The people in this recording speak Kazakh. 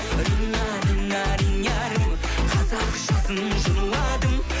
рина рина ринярым қазақшасын жырладым